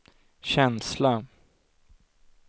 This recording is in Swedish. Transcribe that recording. känsla